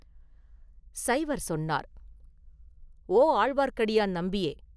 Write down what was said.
சைவர் சொன்னார்: “ஓ, ஆழ்வார்க்கடியான் நம்பியே!